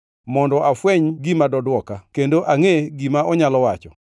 mondo afweny gima doduoka kendo angʼe gima onyalo wacho.